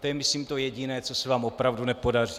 To je myslím to jediné, co se vám opravdu nepodaří.